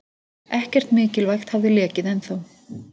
Ekkert mikilvægt hafði lekið ennþá.